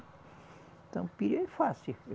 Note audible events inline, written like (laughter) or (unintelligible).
Então (unintelligible) é fácil.